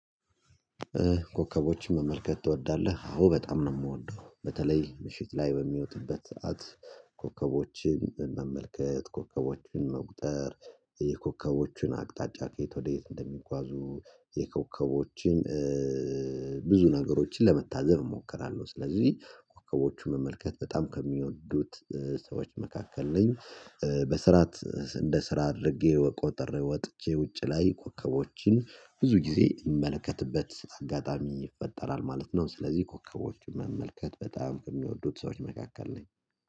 ኮከቦችን መመልከት ትወዳለህ? አዎ በጣም ነው የምወደው በተለይ ምሽት ላይ በሚወጥበት ሰዓት ኮከቦችን መመልከት ኮከቦችን መቁጠር የኮከቦችን አቅጣጫ ከየት ወዴት እንደሚጓዙ የኮከቦችን ብዙ ነገሮችን ለመታዘብ እሞክራለሁ። ስለዚህ ኮከቦችን መመልከት በጣም ከሚወዱት ሰዎች መካከል ነኝ። በስርዓት እንደ ስራ አድርጌ መቁጠር ወጥቼ ውጪ ላይ ኮከቦችን ብዙ ጊዜ ይመለከትበት አጋጣሚ ይፈጠራል ማለት ነው። ስለዚህ ኮከቦች መመልከት በጣም የሚወዱት ሰዎች መካከል ነኝ